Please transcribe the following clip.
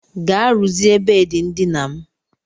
Gaa rụzie bedị ndina m.